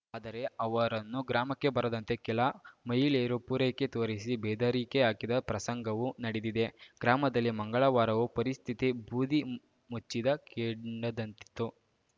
ಆದರೆ ಅವರನ್ನು ಗ್ರಾಮಕ್ಕೆ ಬರದಂತೆ ಕೆಲ ಮಹಿಳೆಯರು ಪೂರಕೆ ತೋರಿಸಿ ಬೆದರಿಕೆ ಹಾಕಿದ ಪ್ರಸಂಗವೂ ನಡೆದಿದೆ ಗ್ರಾಮದಲ್ಲಿ ಮಂಗಳವಾರವೂ ಪರಿಸ್ಥಿತಿ ಬೂದಿ ಮುಚ್ಚಿದ ಕೆಂಡದಂತಿತ್ತು